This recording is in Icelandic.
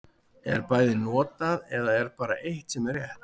Er bæði notað, eða er bara eitt sem er rétt.